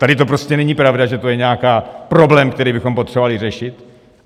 Tady to prostě není pravda, že to je nějaký problém, který bychom potřebovali řešit.